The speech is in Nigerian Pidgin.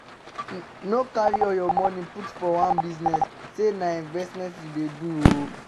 No carry all your money put for one business say na investment you dey do